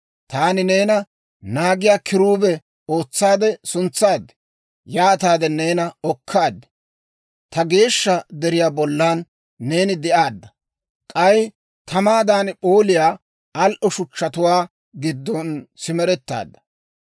Taani neena naagiyaa kiruube ootsaade suntsaad; yaataade neena okkaad. Ta geeshsha deriyaa bollan neeni de'aadda; k'ay tamaadan p'ooliyaa al"o shuchchatuwaa giddon simerettaadda.